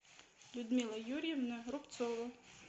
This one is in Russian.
людмила юрьевна рубцова